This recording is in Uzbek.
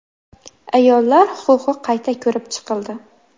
Ayollar huquqi qayta ko‘rib chiqildi.